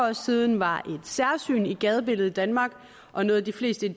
år siden var et særsyn i gadebilledet i danmark og noget de fleste